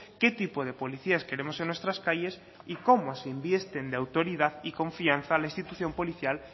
qué tipo de policías queremos en nuestras calles y cómo se invisten de autoridad y confianza a la institución policial